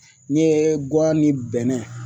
N'i ye guwan ni bɛnɛ